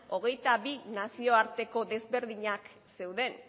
hogeita bi nazioarteko desberdinak zeuden